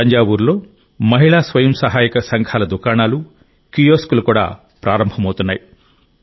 తంజావూరులో మహిళా స్వయం సహాయక సంఘాల దుకాణాలు కియోస్క్లు కూడా ప్రారంభమవుతున్నాయి